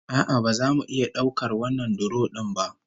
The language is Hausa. A'a, ba za mu iya daukar wannan duro din ba